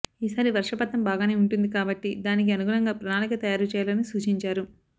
ఈసారి వర్షపాతం బాగానే ఉంటుంది కాబట్టి దానికి అనుగుణంగా ప్రణాళిక తయారు చేయాలని సూచించారు